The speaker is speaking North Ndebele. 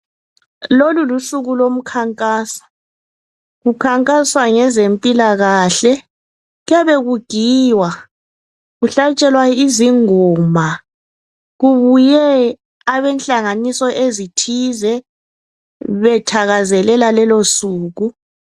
Lolu lusuku lomkhankaso, kukhankaswa ngezempilakahle. Kuyabe kugiywa, kuhlatshelwa izingoma kubuye abenhlanganiso ezithize bethakazelela lolo suku.